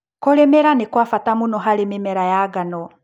Kũrĩmĩra nĩkwabata mũno harĩ mĩmera ya ngano.